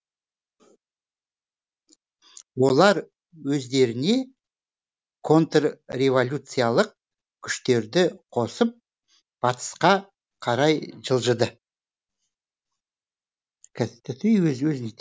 олар өздеріне контрреволюциялық күштерді қосып батысқа қарай жылжыды